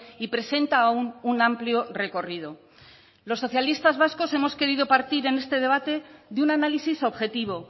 y presenta aun un amplio recorrido los socialistas vascos hemos querido partir en este debate de un análisis objetivo